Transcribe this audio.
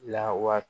Lawa